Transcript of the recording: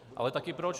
Ale také proč?